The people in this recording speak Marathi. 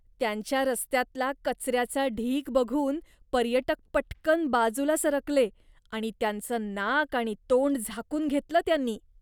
त्यांच्या रस्त्यातला कचऱ्याचा ढीग बघून पर्यटक पटकन बाजूला सरकले आणि त्यांचं नाक आणि तोंड झाकून घेतलं त्यांनी.